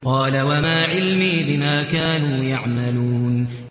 قَالَ وَمَا عِلْمِي بِمَا كَانُوا يَعْمَلُونَ